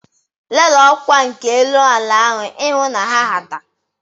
Lelee ọkwa nke elu ala ahu ihụ na ha hata.